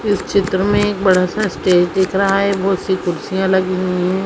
इस चित्र में एक बड़ा- सा स्टेज दिख रहा हैबहुत- सी कुर्सियाँ लगी हुई हैं।